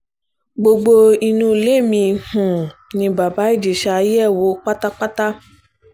gbogbo inú ilé mi um ni bàbá ìjẹsa yẹ̀ wò pátápátá